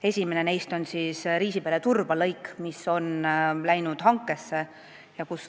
Esimene neist on Riisipere–Turba lõik, mis on läinud hankesse.